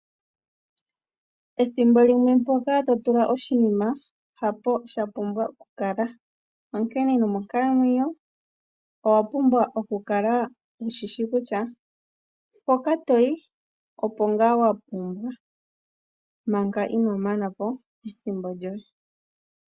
Ethimbo limwe mpoka to tula oshinima, hapo sha pumbwa oku kala. Onkene nomonkalamwenyo owa pumbwa oku kala wushishi kutya, mpoka toyi opo ngaa wapumbwa manga ino mana po ethimbo lyoye.